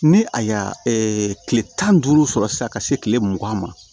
Ni a y'a tile tan ni duuru sɔrɔ sisan ka se tile mugan ma